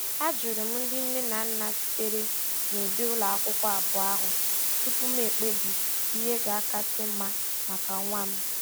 Ajụrụ m ndị nne na nna sitere na ụdị ụlọ akwụkwọ abụọ ahụ tupu m ekpebi ihe ga-akasị mma maka nwa m.